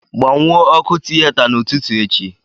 Gbanwuo ọkụ tiyeta n'ụtụtụ echi